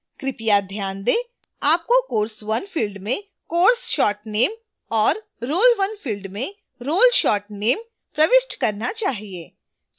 कृपया ध्यान दें: आपको course1 field में course short name और role1 field में role short name प्रविष्ट करना चाहिए